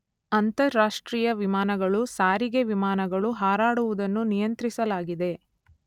ಅಂತಾರಾಷ್ಟ್ರೀಯ ವಿಮಾನಗಳು ಸಾರಿಗೆ ವಿಮಾನಗಳು ಹಾರಾಡುವುದನ್ನು ನಿಯಂತ್ರಿಸಲಾಗಿದೆ.